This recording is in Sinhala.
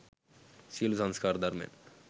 සියලු සංස්කාර ධර්මයන්